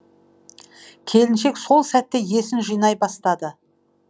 келіншек сол сәтте есін жинай бастады